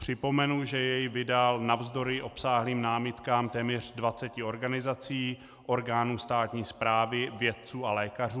Připomenu, že jej vydal navzdory obsáhlým námitkám téměř 20 organizací, orgánů státní správy, vědců a lékařů.